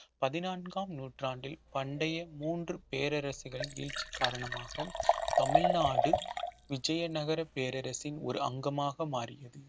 பதினான்காம் நூற்றாண்டில் பண்டைய மூன்று பேரரசுகளின் வீழ்ச்சி காரணமாக தமிழ்நாடு விஜயநகரப் பேரரசின் ஒரு அங்கமாக மாறியது